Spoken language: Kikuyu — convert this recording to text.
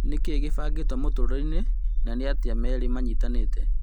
Nĩkĩĩ gĩbangĩtwo mũtũrĩreinĩ na nĩatĩa merĩ manyitanĩte ?